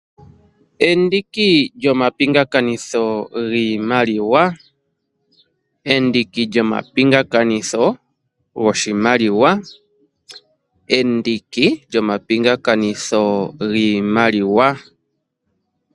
Endiki lyomapingakanitho giimaliwa, endiki lyomapingakanitho goshimaliwa, endiki lyomapingakanitho giimaliwa.